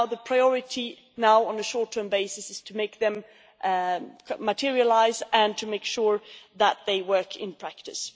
So the priority now, on a short-term basis, is to make them materialise and to make sure that they work in practice.